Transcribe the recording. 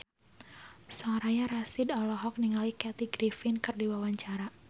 Soraya Rasyid olohok ningali Kathy Griffin keur diwawancara